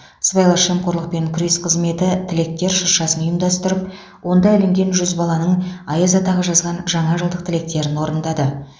сыбайлас жемқорлыпен күрес қызметі тілектер шыршасын ұйымдастырып онда ілінген жүз баланың аяз атаға жазған жаңа жылдық тілектерін орындады